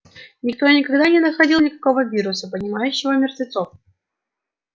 никто и никогда не находил никакого вируса поднимающего мертвецов